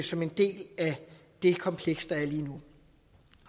som en del af det kompleks der er lige nu